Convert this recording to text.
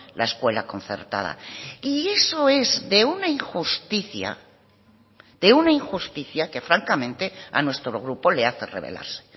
la escuela concertada y eso es de una injusticia de una injusticia que francamente a nuestro grupo le hace rebelarse